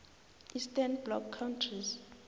eastern bloc countries